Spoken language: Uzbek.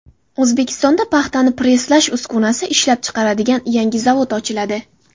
O‘zbekistonda paxtani presslash uskunasini ishlab chiqaradigan yangi zavod ochiladi.